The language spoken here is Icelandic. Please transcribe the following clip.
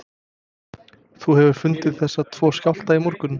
Þú hefur fundið þessa tvo skjálfta í morgun?